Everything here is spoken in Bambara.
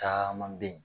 Caman be ye